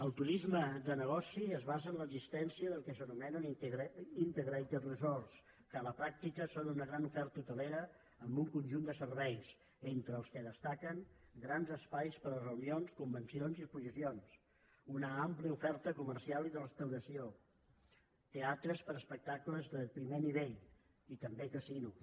el turisme de negoci es basa en l’existència del que s’anomena integrates resortsuna gran oferta hotelera amb un conjunt de serveis entre els quals destaquen grans espais per a reunions convencions i exposicions una àmplia oferta comercial i de restauració teatres per a espectacles de primer nivell i també casinos